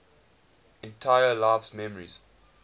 entire life's memories